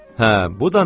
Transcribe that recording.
Hə, bu da mən.